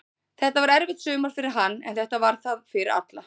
Þetta var erfitt sumar fyrir hann, en þetta var það fyrir alla.